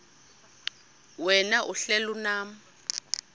wena uhlel unam